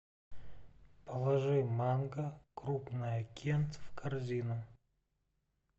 положи манго крупное кент в корзину